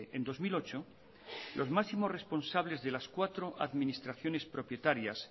en dos mil ocho los máximos responsables de las cuatro administraciones propietarias